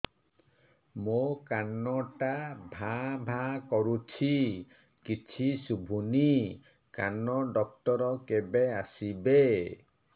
ମୋ କାନ ଟା ଭାଁ ଭାଁ କରୁଛି କିଛି ଶୁଭୁନି କାନ ଡକ୍ଟର କେବେ ଆସିବେ